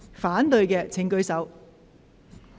反對的請舉手。